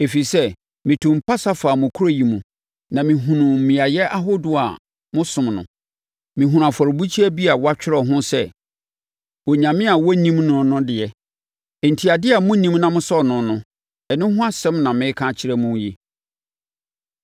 Ɛfiri sɛ, metuu mpase faa mo kuro yi mu, na mehunuu mmeaeɛ ahodoɔ a mosom no, mehunuu afɔrebukyia bi a wɔatwerɛ ho sɛ, Onyame a wɔnnim no no de. Enti, adeɛ a monnim na mosɔre no no, ɛno ho asɛm na mereka akyerɛ mo yi.